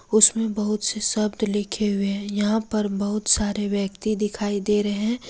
उसमें बहुत से शब्द लिखे हुए हैं यहां पर बहुत सारे व्यक्ति दिखाई दे रहे हैं।